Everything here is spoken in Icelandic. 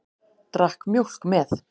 Drakk mjólk með.